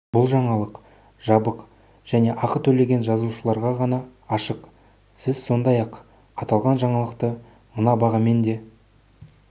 бұл жаңалық жабық және ақы төлеген жазылушыларға ғана ашық сіз сондай-ақ аталған жаңалықты мына бағамен де